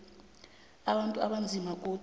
abantu abanzima godu